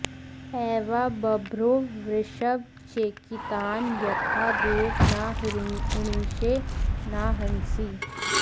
ए॒वा ब॑भ्रो वृषभ चेकितान॒ यथा॑ देव॒ न हृ॑णी॒षे न हंसि॑